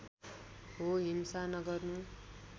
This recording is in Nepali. हो हिंसा नगर्नु